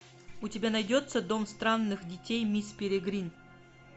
у тебя найдется дом странных детей мисс перегрин